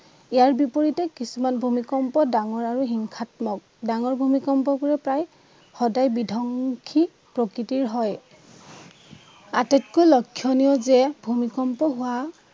ইয়াৰ বিপৰীতে কিছুমান ভূমিকম্প ডাঙৰ আৰু হিংসাত্মক। ডাঙৰ ভূমিকম্পবোৰে প্ৰায় সদায় বিধ্বংসী প্ৰকৃতিৰ হয় আটাতকৈ লক্ষণীয় যে ভূমিকম্প হোৱা